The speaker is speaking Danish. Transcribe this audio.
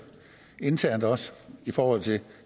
internt også i forhold til